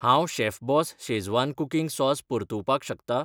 हांव Chef Boss schezwan cooking sauce परतुवपाक शकता?